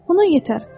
Ona yetər.